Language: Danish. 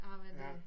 Ej men det